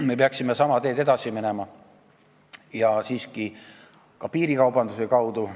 Me peaksime sama teed edasi minema ja siiski ka piirikaubandusega tegelema.